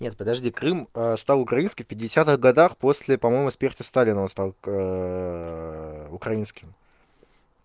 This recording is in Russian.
нет подожди крым стал украинским в пятидесятых годах после по-моему смерти сталина он стал украинским